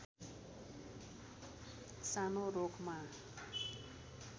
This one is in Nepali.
सानो रूखमा